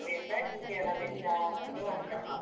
ಹಾಗೆ ಎಲ್ಲಾ ವೇಷ, ಹೀಗೆ ಎಲ್ಲಾ ವೇಷ ಅಂತ ಅವರದ್ದು ಅಂತ.